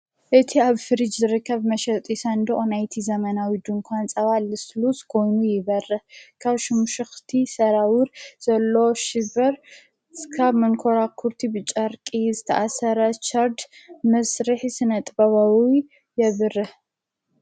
እቲ ኣብ ፍሪጅ ዝርከብ መሸጡሠንዶ ኦናይቲ ዘመናዊ ድ እንኳን ጸባ ልስሉስ ጐይኑ ይበርህ ካብ ሹሙሽኽቲ ሰራዊር ዘሎ ሽበር ሥካብ መንኰራ ዂርቲ ብጫርቂ ዝተኣሠረሻርድ ምስርሕ ስነ ጥበበዊ የብርህ።